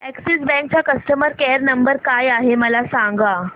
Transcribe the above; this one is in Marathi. अॅक्सिस बँक चा कस्टमर केयर नंबर काय आहे मला सांगा